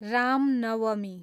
Ram Navami